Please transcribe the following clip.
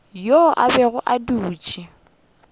yo a bego a dutše